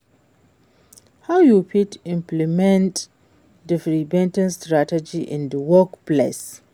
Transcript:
How you fit implement di prevention strategies in di workplace?